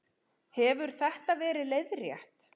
Hefur þetta verið leiðrétt